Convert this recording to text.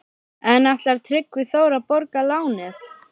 En ætlar Tryggvi Þór að borga lánið?